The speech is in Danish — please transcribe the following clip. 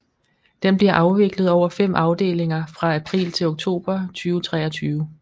Den bliver afviklet over fem afdelinger fra april til oktober 2023